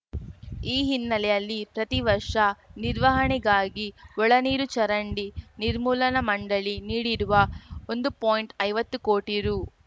ಈ ಹಿನ್ನೆಲೆಯಲ್ಲಿ ಪ್ರತಿ ವರ್ಷ ನಿರ್ವಹಣೆಗಾಗಿ ಒಳ ನೀರು ಚರಂಡಿ ನಿರ್ಮೂಲನಾ ಮಂಡಳಿ ನೀಡಿರುವ ಒಂದು ಪಾಯಿಂಟ್ ಐವತ್ತು ಕೋಟಿ ರು